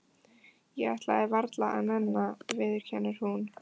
Ég ætlaði varla að nenna, viðurkennir hún.